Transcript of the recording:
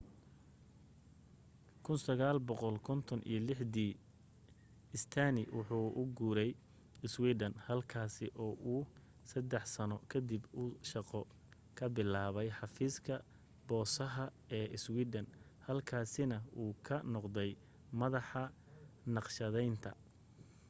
1956dii stania wuxuu u guuray iswiidhan halkaasi oo uu saddex sanno kadib uu shaqo ka bilaabay xafiiska boosaha ee iswiidhan halkaasina uu ka noqday madaxa naqshadaynta